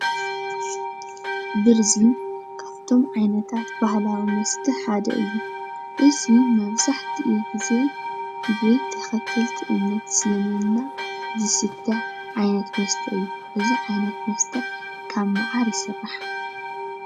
ብርዚ ካብቶም ዓይነታት ባህላዊ መስተ ሓደ እዩ፡፡ እዚ መብዛሕትኡ ግዜ ብተኸተልቲ እምነት እስልምና ዝስተ ዓይነት መስተ እዩ፡፡ እዚ ዓይነት መስተ ካብ መዓር ይስራሕ፡፡